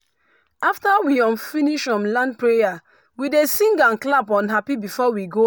after we um finish um land prayer we dey sing and clap um happy before we go house.